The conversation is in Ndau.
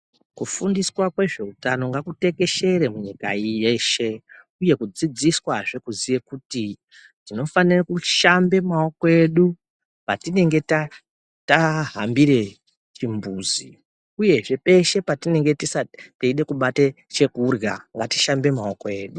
Kufundiswa kwezveutano ngakutekeshere munyika yeshe uye kudzidziswa zvee kuziye kuti tinofanire kushambe maoko edu patinenge tahambire chimbuzi, uye zvee peshe patinenge teide kubate chekurya ngatishambe maoko edu.